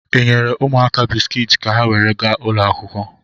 Ị nyere ụmụaka bisikiiti ka ha were gaa ụlọ akwụkwọ?